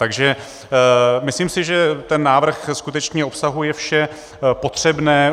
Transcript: Takže myslím si, že ten návrh skutečně obsahuje vše potřebné.